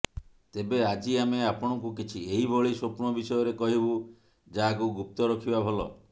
ତେବେ ଆଜି ଆମେ ଆପଣଙ୍କୁ କିଛି ଏହିଭଳି ସ୍ୱପ୍ନ ବିଷୟରେ କହିବୁ ଯାହାକୁ ଗୁପ୍ତ ରଖିବା ଭଲ